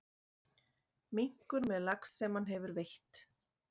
Minkur með lax sem hann hefur veitt.